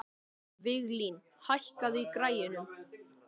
Viglín, hækkaðu í græjunum.